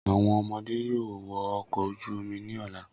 Awọn ọmọde yoo wọ ọkọ oju omi ni ọla.